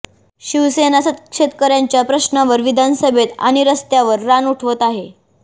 शिवसेना शेतकऱ्यांच्या प्रश्नावर विधानसभेत आणि रस्त्यावर रान उठवत आहे